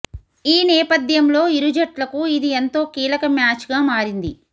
ఈ నేపథ్యంలో ఇరు జట్లకు ఇది ఎంతో కీలక మ్యాచ్గా మారింది